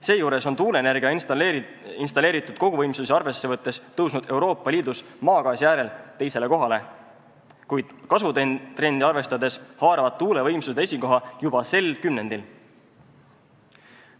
Seejuures on tuuleenergia installeeritud koguvõimsusi arvesse võttes tõusnud Euroopa Liidus maagaasi järel teisele kohale, kuid kasvutrende arvestades haaravad tuulevõimsused esikoha juba sel kümnendil.